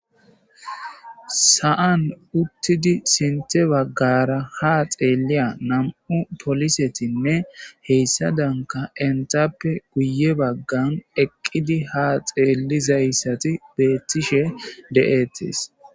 sa7an uttidi sinte baggara ha xeelliya nam7u polisetinne heyssa danka entappe guye baggan eqqidi ha xeellizayssati beettishe de7ettis